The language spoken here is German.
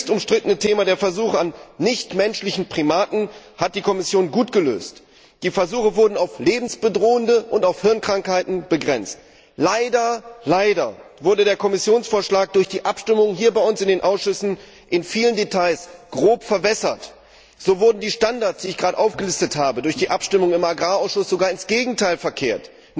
Auch das höchst umstrittene Thema der Versuche an nichtmenschlichen Primaten hat die Kommission gut gelöst Die Versuche wurden auf lebensbedrohende Krankheiten und auf Hirnkrankheiten begrenzt. Leider wurde der Kommissionsvorschlag durch die Abstimmung in den Ausschüssen in vielen Details grob verbessert. So wurden die Standards, die ich gerade aufgelistet habe, durch die Abstimmung im Landwirtschaftsausschuss sogar ins Gegenteil verkehrt.